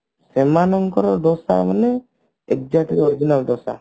ସେମାନଙ୍କର ଦୋସା ମାନେ exact original dosa